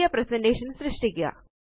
പുതിയൊരു പ്രസന്റേഷൻ സൃഷ്ടിക്കുക